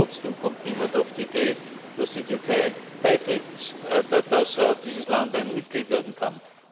Trotzdem kommt niemand auf die Idee, dass dieses Land ein Mitglied werden kann.